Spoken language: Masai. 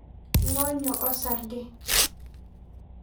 Ngonyo osarge.